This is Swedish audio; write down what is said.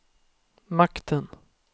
makten